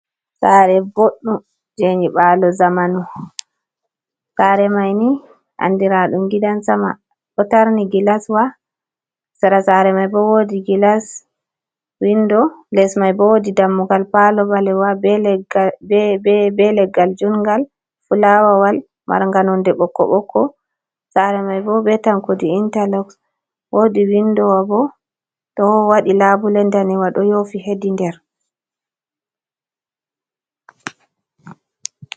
Saare boɗɗum je nyiɓalo zamanu, Saare maini andi raɗum gidan sama ɗo tarni, gillaswa saare mai bo wodi gilas windo, les mai bo wodi dammugal palo ɓalewa ɓe leggal jungal, fulawawal marnga nonde ɓokko ɓokko saare mai bo ɓe tankudi intaloks, wodi windowo bo ɗo waɗi labule nɗanewa do yofi hedi nder.